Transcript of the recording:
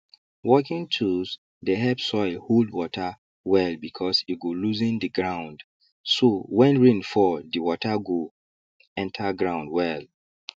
working tools dey help soil hold water well because e go loosen the ground so when rain fall the water go enter ground well